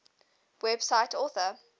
cite web author